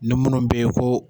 Ni minnu bɛ yen ko.